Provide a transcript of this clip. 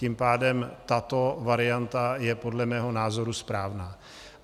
Tím pádem tato varianta je podle mého názoru správná.